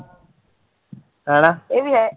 ਹੈਨਾ ਇਹ ਵੀ